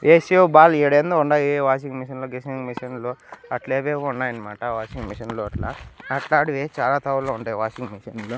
AC ఓ బాల్ ఈడేందో ఉండాయి వాషింగ్ మెషిన్ లు గీసింగ్ మెషిన్ లు అట్లేవేవో ఉన్నాయి అనమాట వాషింగ్ మెషిన్ లు అట్లా అట్లాడివి చాలా తావల్లో ఉంటాయి వాషింగ్ మెషిన్ లు.